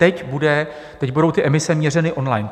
Teď budou emise měřeny on-line.